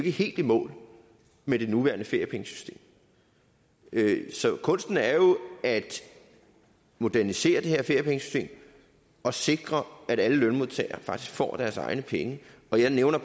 er helt i mål med det nuværende feriepengesystem så kunsten er jo at modernisere det her feriepengesystem og sikre at alle lønmodtagere faktisk får deres egne penge og der nævner